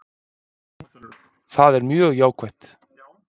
Það er mjög jákvætt